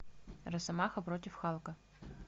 росомаха против халка